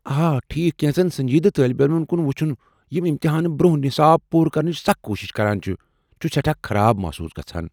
آ، ٹھیکھ، کینٛژن سنجیدٕ طٲلب علمن كُن وُچُھن یِم امتحان برونٛہہ نصاب پوٗرٕ كرنٕچ سخ كوشِش كران چھِ ،چُھ سیٹھاہ خراب محصوس گژھان ۔